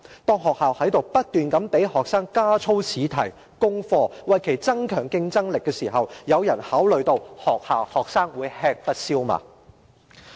當學校不斷給學生加操試題、功課，為其增強競爭力時，有人考慮到學生會否吃不消嗎？